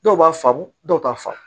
Dɔw b'a faamu dɔw t'a faamu